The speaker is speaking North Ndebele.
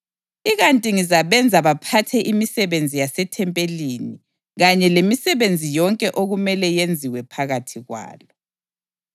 Ikanti ngizabenza baphathe imisebenzi yasethempelini kanye lemisebenzi yonke okumele yenziwe phakathi kwalo.